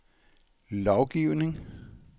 lovgivning